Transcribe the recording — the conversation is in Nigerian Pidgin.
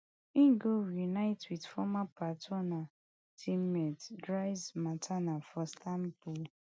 e go reunite wit former teammate for istanbul